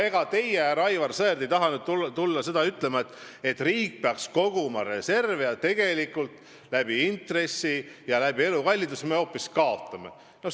Ega teie, härra Aivar Sõerd, ei taha ju nüüd tulla ütlema, et riik peaks koguma reserve, kuigi me intresside ja elukalliduse tõusu tõttu hoopis kaotame sellega.